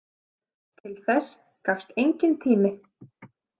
Til þess gafst enginn tími.